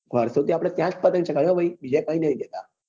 વરસો થી આપડે ત્યાં જ પતંગ ચાગવીયે હા ભાઈ બીજે ક્યાય નાઈ ગયા